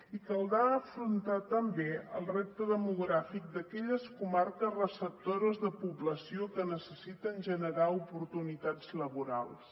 i caldrà afrontar també el repte demogràfic d’aquelles comarques receptores de població que necessiten generar oportunitats laborals